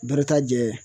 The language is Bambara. Barika jɛ